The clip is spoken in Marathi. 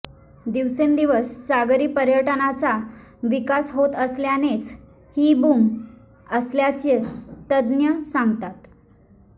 दिवसेंदिवस सागरी पर्यटनाचा विकास होत असल्यानेच ही बूम असल्याचं तज्ज्ञ सांगतात